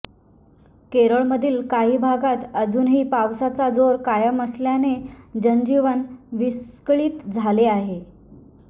केरळमधील काही भागात अजूनही पावसाचा जोर कायम असल्याने जनजीवन विस्कळीत झाले आहे